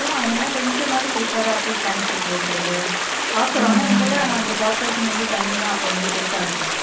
அதனால கொஞ்சமாவது prepare ஆ at least தண்ணி பிடிச்சு வக்கிறது அப்புறம் ஆனா இங்கெல்லாம் இந்த corporation ல இருந்து தண்ணி எல்லாம் அப்ப வந்து குடுத்தாங்க